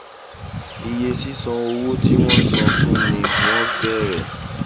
iye sísan owó tí wọn san fún ni wọn bẹrẹ